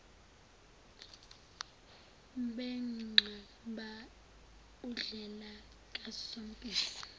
benqaba undlela kasompisi